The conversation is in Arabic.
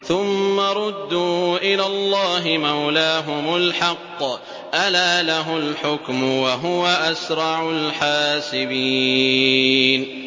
ثُمَّ رُدُّوا إِلَى اللَّهِ مَوْلَاهُمُ الْحَقِّ ۚ أَلَا لَهُ الْحُكْمُ وَهُوَ أَسْرَعُ الْحَاسِبِينَ